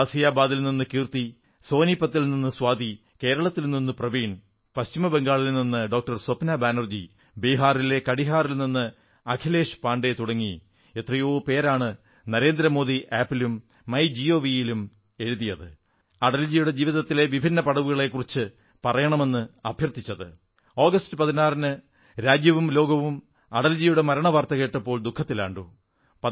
ഗാസിയാബാദിൽ നിന്ന് കീർത്തി സോനിപത്തിൽ നിന്ന് സ്വാതി കേരളത്തിൽ നിന്ന് പ്രവീൺ പശ്ചിമബംഗാളിൽ നിന്ന് ഡോക്ടർ സ്വപ്ന ബാനർജി ബിഹാറിലെ കട്ടിഹാറിൽ നിന്ന് അഖിലേശ് പാണ്ഡേ തുടങ്ങി എത്രയോ പേരാണ് നരേന്ദ്രമോദി മൊബൈൽ ആപ് ലും മൈ ഗിഒവി ലും എഴുതി അടൽജിയുടെ ജീവിതത്തിലെ വിഭിന്ന പടവുകളെക്കുറിച്ച് പറയണമെന്ന് അഭ്യർത്ഥിച്ചത് ആഗസ്റ്റ് 16 ന് രാജ്യവും ലോകവും അടൽജിയുടെ മരണവാർത്ത കേട്ടപ്പോൾ ദുഃഖത്തിലാണ്ടു